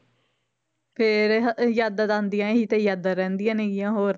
ਫਿਰ ਹ~ ਯਾਦਾਂ ਤਾਂ ਆਉਂਦੀਆਂ, ਇਹੀ ਤਾਂ ਯਾਦਾਂ ਰਹਿੰਦੀਆਂ ਨੇ ਗੀਆਂ ਹੋਰ।